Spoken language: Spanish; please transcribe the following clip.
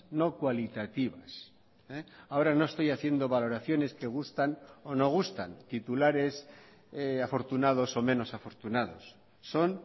no cualitativas ahora no estoy haciendo valoraciones que gustan o no gustan titulares afortunados o menos afortunados son